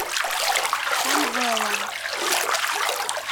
самвела